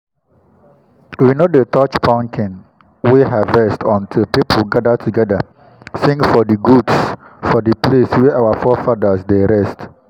we no dey touch pumpkin wey we harvest until people gather together sing for di goods for the place wey our forefathers dey rest.